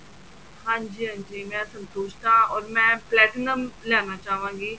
ਹਾਂਜੀ ਹਾਂਜੀ ਮੈਂ ਸੰਤੁਸ਼ਟ ਹਾਂ or ਮੈਂ platinum ਲੈਣਾ ਚਾਹਵਾਂਗੀ